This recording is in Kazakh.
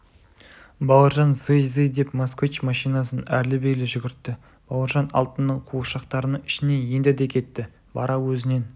бауыржан зый-зый деп москвич машинасын әрлі-бері жүгіртті бауыржан алтынның қуыршақтарының ішіне енді де кетті бара өзінен